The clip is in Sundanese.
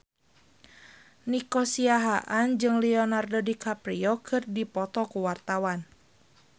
Nico Siahaan jeung Leonardo DiCaprio keur dipoto ku wartawan